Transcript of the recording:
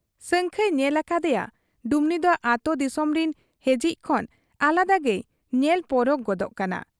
ᱥᱟᱹᱝᱠᱷᱟᱹᱭ ᱧᱮᱞ ᱟᱠᱟᱫ ᱮᱭᱟ ᱰᱩᱢᱱᱤ ᱫᱚ ᱟᱹᱛᱩ ᱫᱤᱥᱚᱢ ᱨᱤᱱ ᱦᱮᱡᱤᱡ ᱠᱷᱚᱱ ᱟᱞᱟᱫᱟ ᱜᱮᱭ ᱧᱮᱞ ᱯᱚᱨᱚᱠ ᱜᱚᱫᱚᱜ ᱠᱟᱱᱟ ᱾